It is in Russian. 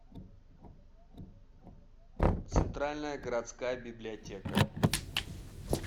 центральная городская библиотека